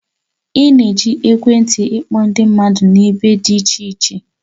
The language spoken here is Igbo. Ị na-eji ekwentị ịkpọ ndị mmadụ n'ebe dị iche iche